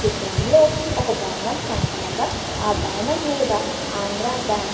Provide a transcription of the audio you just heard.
ఈ చిత్రంలో ఒక భవనం కనపడగా ఆ భవనం మీద ఆంధ్రా బ్యాంక్ --